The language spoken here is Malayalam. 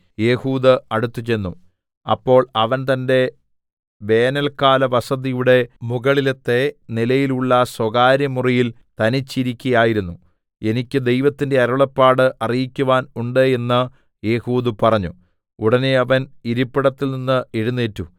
ഏഹൂദ് അടുത്തുചെന്നു അപ്പോൾ അവൻ തന്റെ വേനൽക്കാലവസതിയുടെ മുകളിലത്തെ നിലയിലുള്ള സ്വകാര്യമുറിയിൽ തനിച്ച് ഇരിക്കയായിരുന്നു എനിക്ക് ദൈവത്തിന്റെ അരുളപ്പാട് അറിയിക്കുവാൻ ഉണ്ട് എന്ന് ഏഹൂദ് പറഞ്ഞു ഉടനെ അവൻ ഇരിപ്പിടത്തിൽ നിന്ന് എഴുന്നേറ്റു